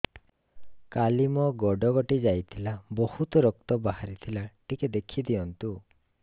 କାଲି ମୋ ଗୋଡ଼ କଟି ଯାଇଥିଲା ବହୁତ ରକ୍ତ ବାହାରି ଥିଲା ଟିକେ ଦେଖି ଦିଅନ୍ତୁ